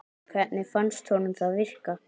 Hvernig fannst honum það virka?